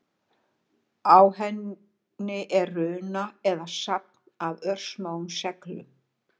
Á henni er runa eða safn af örsmáum seglum.